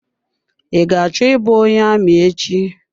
I ga-achọ I bụ onye amị echi.